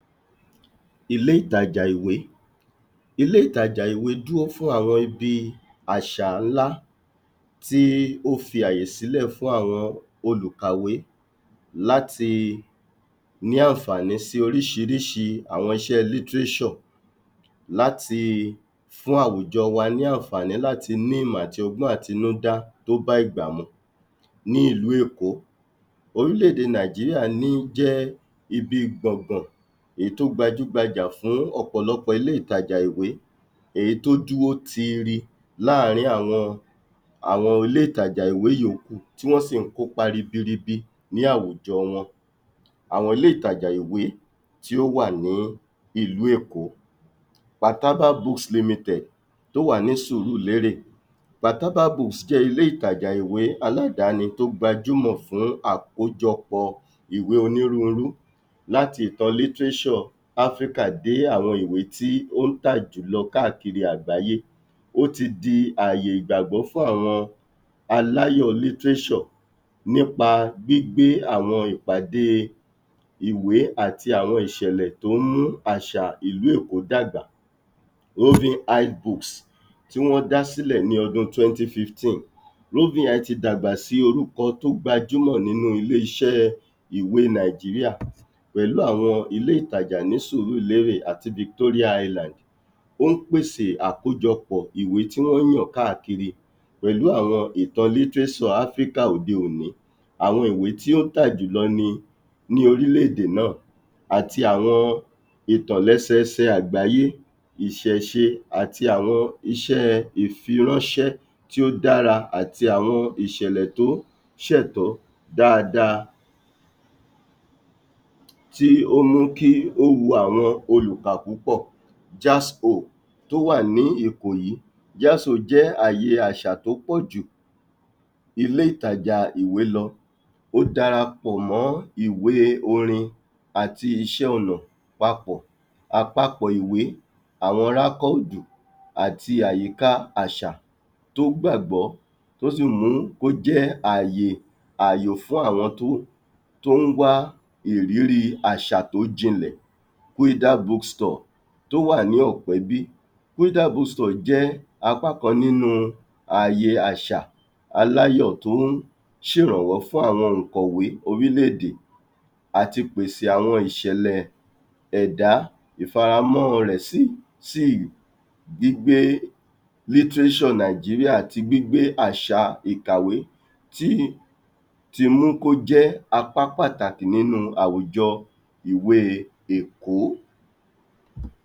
Ilè ìtajà ìwé, Ilè ìtajà ìwé dúró fún àwọn ibi àṣà ńlá tí ó fí àyè sílẹ̀ fún àwọn òlùkàwé láti ní àǹfààní sí oríṣiṣíri àwọn iṣẹ́ láti fún awùjọ wa ní àǹfààní láti ní ìmọ̀ àti ọgbọ́n àtinúdá tó bá ìgbà mu ní ìlú èkó. Orílè èdè nàìjíríà ní jẹ́ íbí gbọ̀ngbọ̀n èyí tó gbajúgbajà fún ọ̀pọ̀lọpọ̀ ilè ìtajà ìwé èyí tó dúró tíírí láàrìn àwọn àwọn ilé ìtajà ìwé yóókù tí wọ́n sì kópa ríbíríibí ní awùjọ wọn, Àwọn ilé ìtajà ìwé tíó wà ní awùjọ wọn ní ìlú èkó, tí ó wà ní ìlú èkó, ilé ìtajà ìwé a tó wà ní sùúrùlérè jẹ́ ládàní tó gbajúmọ̀ fún àkójọpọ̀ ìwé onírurú láti ìtàn Áfríkà dé àwọn ìwé tó ń tà jùlọ káàkírí àgbá́yé ó ti di àyè ìgbàgbọ́ fún àwọn aláyọ̀ nípa gbígbé àwọn ìpàdé ìwé àti àwọn ìṣẹlẹ tó ń mú àṣà ìlú èkó dáágbà tí wọ́n dá sílẹ̀ ní ọdún tí dagbà sí orúkọ tí ó gbajúmọ̀ nínú ilé iṣẹ́ ìwé nàìjíríà pẹ̀lú àwọn ilé ìtajà ní sùúrùlérè àti óún pèsè àkójọpọ̀ ìwé tí wọ́n yàn káákìrí pẹ̀lú àwọn ìtàn litirésọ̀ Áfríkà òdé òní, Àwọn ìwé tí ó ń tà jùlọ ní ní orílè èdè náà àti àwọn ìtàn lésẹsẹ àgbayé ìṣẹ̀ṣẹ́ àti àwọn iṣẹ́ ìfiráńṣẹ́ tí ó dára àti àwọn ìṣẹ̀lẹ̀ tí ó ṣẹ̀tọ́ dáadáa, tí ó múkí ó wun àwọn òlùkà púpọ̀ tí ó wà ní ìkòyí jẹ́ àyè àṣà tí ó pọ̀jù ilè ìtajà ìwé lọ ó dárápọ̀ mọ́ àwọn ìwé orin àti iṣẹ́ ònà papọ̀ àpapọ̀ ìwé àwọn àti àyíká áṣà tó gbàgbọ́ tó sì mú kó jẹ́ àyè àyò fún àwọn tó ń wá ìrírí àṣà tó jìnlẹ̀ tò wà ní ọ̀pẹ́bí jẹ́ apákan nínu àyè àṣà aláyọ̀ tí ń ṣe ìrànwọ́n fún àwọn òǹkọ̀wé orílè èdè àti pèsè àwọn ìṣẹ̀lẹ̀ ẹ̀dá ìfaramọ́ rẹ̀ sí sí gbígbé litirésò nàìjíríà àti gbígbé àṣà ìkàwé ti ti mú kọ́jẹ́ apá pàtàkì nínu àwùjọ ìwé èkọ́.